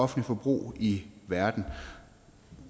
forbrug i verden